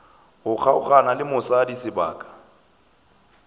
go kgaogana le mosadi sebaka